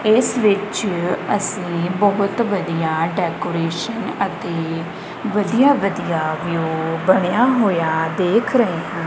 ਇਸ ਵਿੱਚ ਅੱਸੀ ਬਹੁਤ ਵਧੀਆ ਡੈਕੋਰੇਸ਼ਨ ਅਤੇ ਵਧੀਆ ਵਧੀਆ ਵਿਊ ਬਣਿਆ ਹੋਇਆ ਦੇਖ ਰਹੇ ਹਾਂ।